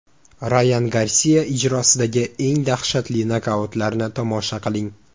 Rayan Garsiya ijrosidagi eng dahshatli nokautlarni tomosha qiling !